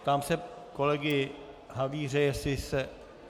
Ptám se kolegy Havíře, jestli se...